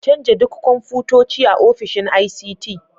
Canja duk kwamfutoci a ofishin ICT.